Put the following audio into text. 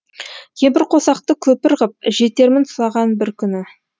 кемпірқосақты көпір ғып жетермін саған бір күні